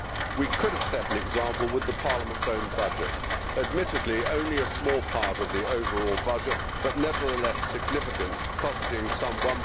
We could have set an example with Parliament's own budget, admittedly only a small part of the overall budget but nevertheless significant, costing some EUR